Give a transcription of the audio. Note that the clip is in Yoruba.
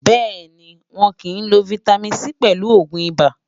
béèni, wón kí n ló fìtámín C pèlù ògún ibà